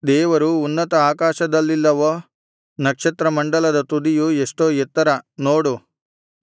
ದೇವರು ಉನ್ನತ ಆಕಾಶದಲ್ಲಿಲ್ಲವೋ ನಕ್ಷತ್ರಮಂಡಲದ ತುದಿಯು ಎಷ್ಟೋ ಎತ್ತರ ನೋಡು